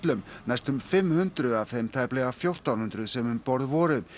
næstum fimm hundruð af þeim tæplega fjórtán hundruð sem um borð voru